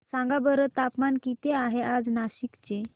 सांगा बरं तापमान किती आहे आज नाशिक चे